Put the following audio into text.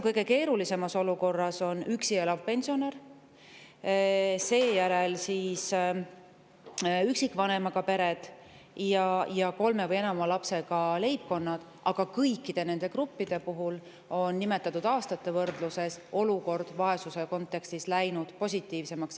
Kõige keerulisemas olukorras on üksi elavad pensionärid, seejärel on üksikvanemapered ning kolme või enama lapsega leibkonnad, aga kõikide nende gruppide puhul on nimetatud aastate võrdluses olukord vaesuse kontekstis läinud positiivsemaks.